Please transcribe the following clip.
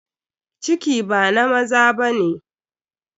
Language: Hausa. Ciki ba na maza ba ne.